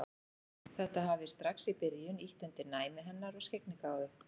Þetta hafi strax í byrjun ýtt undir næmi hennar og skyggnigáfu.